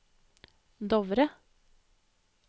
Dovre